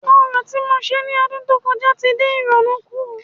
Orò ti mo ṣe ní ọdún tó kọjá tí dín ìrònú kùn